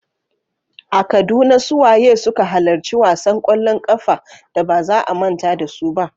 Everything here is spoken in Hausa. A Kaduna, su waye suka halarci wasan kwallon kafa da ba za a manta da su ba?